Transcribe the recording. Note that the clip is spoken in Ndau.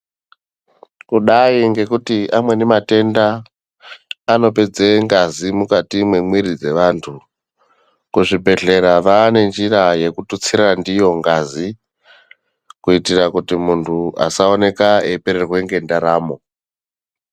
Kudai ngekuti amweni matenda anopedze ngazi mukati memwiri dzevanthu kuzvibhedhlera vane njira yekututsira ndiyo ngazi kuitira kuti munthu asaoneka eipererwe nendaramo.